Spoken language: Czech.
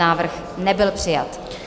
Návrh nebyl přijat.